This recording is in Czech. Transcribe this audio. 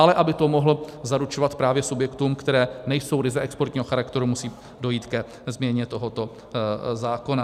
Ale aby to mohl zaručovat právě subjektům, které nejsou ryze exportního charakteru, musí dojít ke změně tohoto zákona.